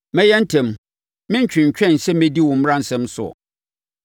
Mɛyɛ ntɛm, merentwentwɛn sɛ mɛdi wo mmaransɛm soɔ.